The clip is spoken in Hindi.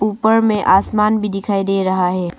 ऊपर में आसमान भी दिखाई दे रहा है।